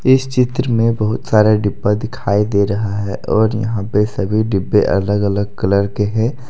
इस चित्र में बहुत सारे डिब्बा दिखाई दे रहा है और यहां पे सभी डिब्बे अलग अलग कलर के हैं।